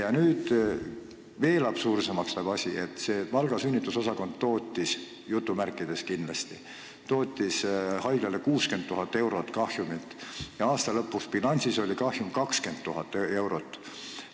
Ja nüüd läheb asi veel absurdsemaks: Valga sünnitusosakond "tootis" haiglale 60 000 eurot kahjumit, aga aasta lõpu bilansis oli kahjum 20 000 eurot.